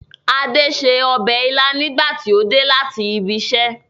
Ade ṣe ọbẹ̀ ilá nígbà tí ó dé láti ibiṣẹ́